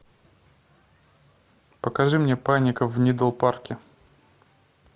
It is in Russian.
покажи мне паника в нидл парке